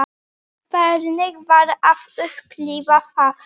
Hvernig var að upplifa það?